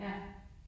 Ja